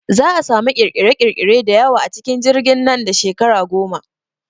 Za'a samu ƙirƙire ƙirƙire da yawa a cikin jirgin nan da shekara goma